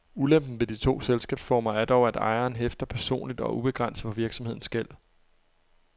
Ulempen ved de to selskabsformer er dog, at ejeren hæfter personligt og ubegrænset for virksomhedens gæld.